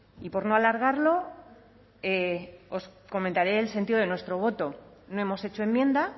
y por no alargarlo os comentaré el sentido de nuestro voto no hemos hecho enmienda